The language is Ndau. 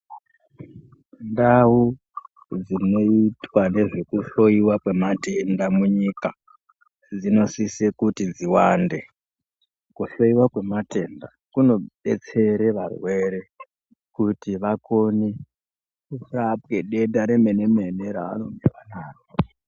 Ndau dzinoitwa nezvekuhloywa kwematenda munyika dzinosise kuti dziwande kuhloyiwe kwematenda kunodetsera varwere kuti vakone kurapwe denda remenemene ravanozwa naro.